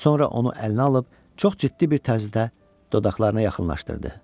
Sonra onu əlinə alıb çox ciddi bir tərzdə dodaqlarına yaxınlaşdırdı.